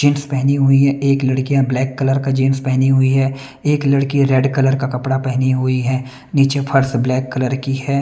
Jeans पहनी हुई हैं एक लड़कियां ब्लैक कलर का जीन्स पहनी हुई है एक लड़की रेड कलर का कपड़ा पहनी हुई है नीचे फर्श ब्लैक कलर की है।